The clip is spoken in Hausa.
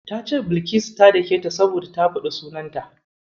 Ta ce Bilkisu ta daketa saboda ta faɗi sunanta.